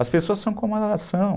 As pessoas são como elas são.